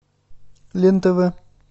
лен тв